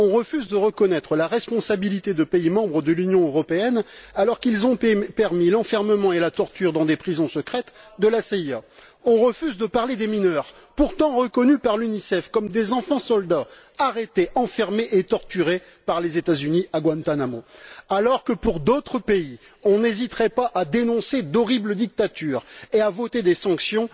On refuse de reconnaître la responsabilité de pays membres de l'Union européenne alors qu'ils ont permis l'enfermement et la torture dans des prisons secrètes de la CIA. On refuse de parler des mineurs, pourtant reconnus par l'UNICEF comme des enfants soldats arrêtés, enfermés et torturés par les États Unis à Guantánamo, alors que, pour d'autres pays, on n'hésiterait pas à dénoncer d'horribles dictatures et à voter des sanctions.